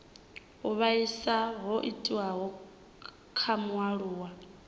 u vhaisa ho itiwaho kha mualuwa